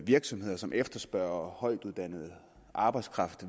virksomheder som efterspørger højtuddannet arbejdskraft